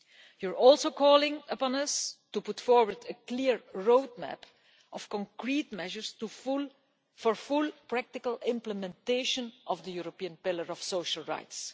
You also call upon us to put forward a clear roadmap of concrete measures for the full practical implementation of the European Pillar of Social Rights.